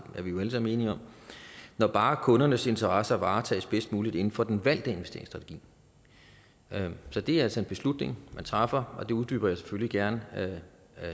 er vi jo alle sammen enige om når bare kundernes interesser varetages bedst muligt inden for den valgte investeringsstrategi så det er altså en beslutning man træffer det uddyber jeg selvfølgelig gerne